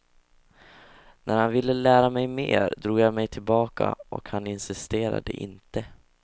När han ville lära mig mer drog jag mig tillbaka och han insisterade inte.